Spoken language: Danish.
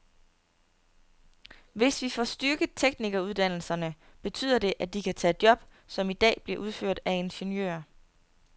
Hvis vi får styrket teknikeruddannelserne, betyder det, at de kan tage job, som i dag bliver udført af ingeniører.